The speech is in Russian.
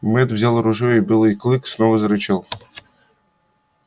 мэтт взял ружье и белый клык снова зарычал